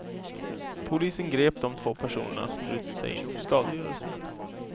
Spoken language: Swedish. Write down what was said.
Polisen grep de två personerna som brutits sig in för skadegörelse.